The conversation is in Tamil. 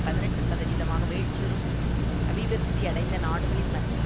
பதினெட்டு சதவீதமாக வீழ்ச்சியுறும் அபிவிருத்தியடைந்த நாடுகளின் மத்தியில்